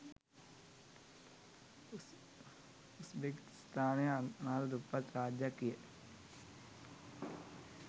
උස්‌බෙකිස්‌තානය අනාථ දුප්පත් රාජ්‍යයක්‌ විය